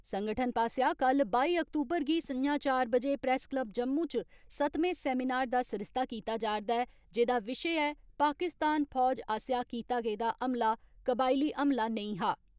संगठन पासेया कल बाई अक्तूबर गी संञा चार बजे प्रेस क्लब जम्मू च सतमें सैमिनार दा सरिस्ता कीता जा रदा ऐ जेदा विशे ऐ पाकिस्तान फौज आसेया कीता गेदा हमला कबाइली हमला नेंई हा।